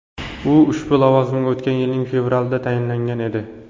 U ushbu lavozimga o‘tgan yilning fevralida tayinlangan edi .